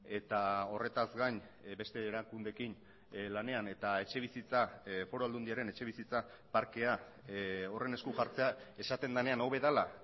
eta horretaz gain beste erakundeekin lanean eta etxebizitza foru aldundiaren etxebizitza parkea horren esku jartzea esaten denean hobe dela